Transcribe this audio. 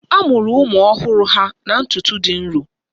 A mụrụ ụmụ ọhụrụ ha na ntutu dị nro